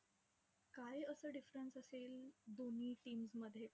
काय असं difference असेल, दोन्ही teams मध्ये?